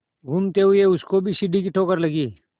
घूमते हुए उसको भी सीढ़ी की ठोकर लगी